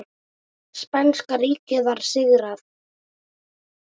Spænska ríkið var sigrað.